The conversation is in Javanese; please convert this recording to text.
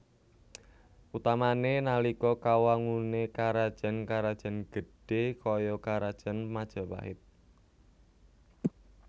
Utamané nalika kawanguné karajan karajan gedhé kaya karajan Majapahit